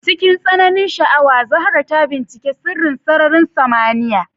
Cikin tsananin sha'awa, Zahra ta binciki sirrin sararin samaniya.